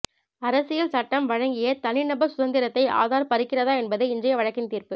அரசியல் சட்டம் வழங்கிய தனி நபர் சுதந்திரத்தை ஆதார் பறிக்கிறதா என்பதே இன்றைய வழக்கின் தீர்ப்பு